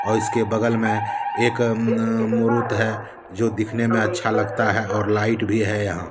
और इसके बगल में एक मुरुत है जो दिखने में अच्छा लगता है और लाइट भी है यहां--